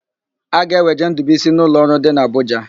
A ga-eweje Ndụbụisi n'ụlọọrụ dị n'Abụja.